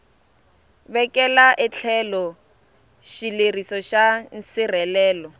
vekela etlhelo xileriso xa nsirhelelo